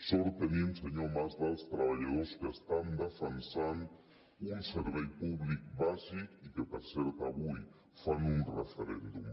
sort tenim senyor mas dels treballadors que estan defensant un servei públic bàsic i que per cert avui fan un referèndum